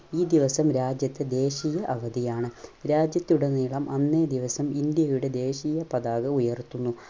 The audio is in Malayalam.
ഈ ദിവസം രാജ്യത്ത് ദേശീയ അവധിയാണ്. രാജ്യത്തുടനീളം അന്നേ ദിവസം ഇന്ത്യയുടെ ദേശീയ പതാക ഉയർത്തുന്നു.